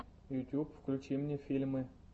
ютьюб включи мне фильмы